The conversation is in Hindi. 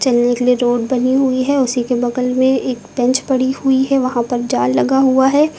के लिए रोड बनी हुई है उसी के बगल में एक बेंच पड़ी हुई है वहां पर जाल लगा हुआ है।